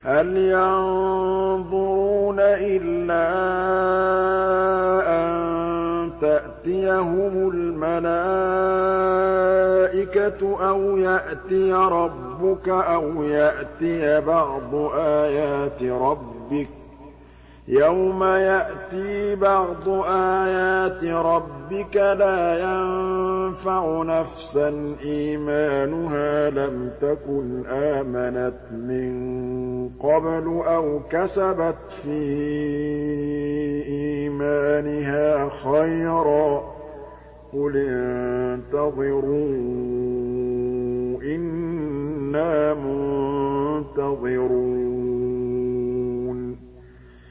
هَلْ يَنظُرُونَ إِلَّا أَن تَأْتِيَهُمُ الْمَلَائِكَةُ أَوْ يَأْتِيَ رَبُّكَ أَوْ يَأْتِيَ بَعْضُ آيَاتِ رَبِّكَ ۗ يَوْمَ يَأْتِي بَعْضُ آيَاتِ رَبِّكَ لَا يَنفَعُ نَفْسًا إِيمَانُهَا لَمْ تَكُنْ آمَنَتْ مِن قَبْلُ أَوْ كَسَبَتْ فِي إِيمَانِهَا خَيْرًا ۗ قُلِ انتَظِرُوا إِنَّا مُنتَظِرُونَ